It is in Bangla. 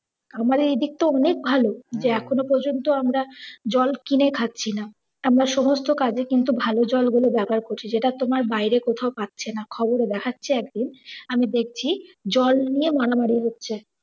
আমাদের এইদিক তো অনেক ভালো যে এখন ও পর্যন্ত আমরা জল কিনে খাচ্ছিনা। আমরা সমস্ত কাজে কিন্তু ভাল জলগুলো ব্যাবহার করি যেটা তোমার বাইরে কোথাও পাচ্ছেনা। খবরে দেখাছে আর কি আমি দেখছি জল নিইয়ে মারামারি হচ্ছে।